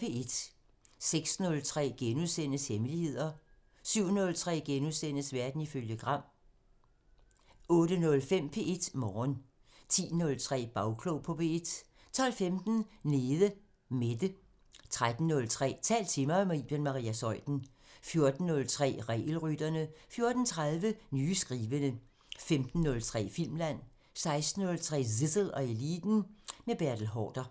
06:03: Hemmeligheder * 07:03: Verden ifølge Gram * 08:05: P1 Morgen 10:03: Bagklog på P1 12:15: Nede Mette 13:03: Tal til mig – med Iben Maria Zeuthen 14:03: Regelrytterne 14:30: Nye skrivende 15:03: Filmland 16:03: Zissel og Eliten: Med Bertel Haarder